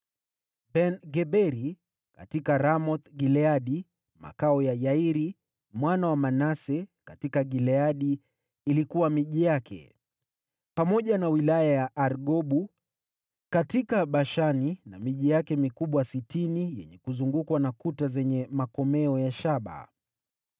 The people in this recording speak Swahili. Ben-Geberi: katika Ramoth-Gileadi (makao ya Yairi mwana wa Manase katika Gileadi ilikuwa miji yake, pamoja na wilaya ya Argobu katika Bashani na miji yake mikubwa sitini yenye kuzungukwa na kuta zenye makomeo ya shaba);